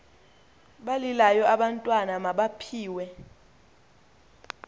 balilayo abantwana mabaphiwe